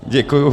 Děkuji.